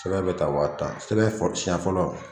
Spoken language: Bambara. Sɛbɛn bɛ ta waa tan, sɛbɛn siɲɛfɔlɔ.